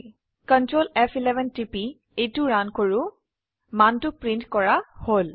Ctrl ফ11 টিপি এইটো ৰান কৰো মানটো প্ৰিন্ট কৰা হল